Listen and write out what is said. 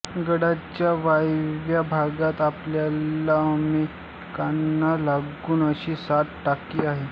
गडाच्या वायव्य भागात आपल्याला एकमेकांना लागून अशी सात टाकी आहेत